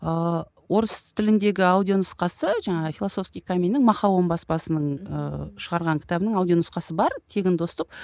ыыы орыс тіліндегі аудио нұсқасы жаңағы филосовский каменьнің баспасының ыыы шығарған кітабінің аудио нұсқасы бар тегін доступ